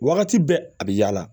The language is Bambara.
Wagati bɛɛ a bɛ yaala